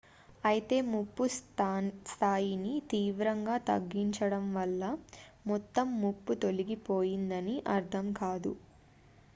"""అయితే ముప్పు స్థాయిని తీవ్రంగా తగ్గించడం వల్ల మొత్తం ముప్పు తొలగిపోయిందని అర్థం కాదు"""".""